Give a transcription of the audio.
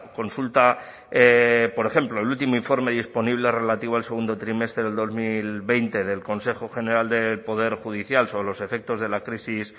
consultapor ejemplo el último informe disponible relativo al segundo trimestre del dos mil veinte del consejo general del poder judicial sobre los efectos de la crisis